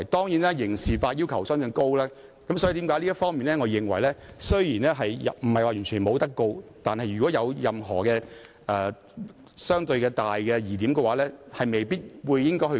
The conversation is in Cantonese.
由於刑事法的要求相對高，所以即使我認為並非不是完全不能提出檢控，但如果存在相對大的疑點時，當局也未必會提出檢控。